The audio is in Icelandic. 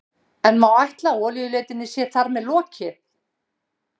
En má ætla að olíuleitinni sé þar með lokið?